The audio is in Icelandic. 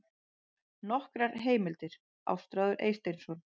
Nokkrar heimildir: Ástráður Eysteinsson.